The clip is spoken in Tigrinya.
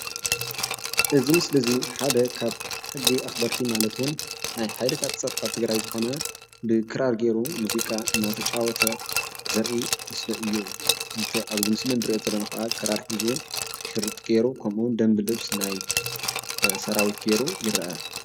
እዚ ምስሊ እዚ ሓደ ካብ ሕጊ ኣኽበርቲ ማለትውን ናይ ሓይልታት ፀጥታ ትግራይ ዝኾነ ብክራር ገይሩ ሙዚቃ ናተጫወተ ዘርኢ ምስሊ እዩ። እንተ ኣብዚ ምስሊ እንርእዮ ዘለና ከዓ ክራር ሒዙ ሽርጥ ገይሩ ከምኡ እውን ደንብ ልብስ ናይ ሰራዊት ገይሩ ይረአ።